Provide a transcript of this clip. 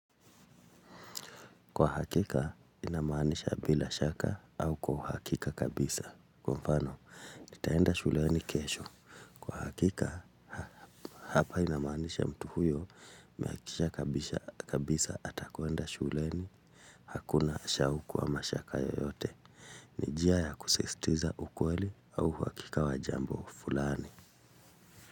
Kwa hakika, inamaanisha bila shaka au kwa uhakika kabisa. Kwa mfano, nitaenda shuleni kesho. Hakika, hapa inamaanisha mtu huyo, amehakikisha kabisa atakwenda shuleni, hakuna shauku ama mashaka yoyote. Ni njia ya kusisitiza ukweli au uhakika wa jambo fulani.